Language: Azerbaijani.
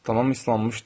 Tamam islanmışdı.